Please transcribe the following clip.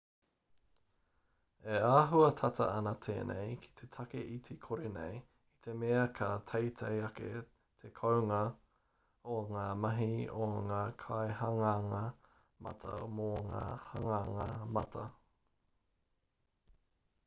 e āhua tata ana tēnei ki te take iti kore nei i te mea ka teitei ake te kounga o ngā mahi a ngā kaihanganga mata mō ngā hanganga mata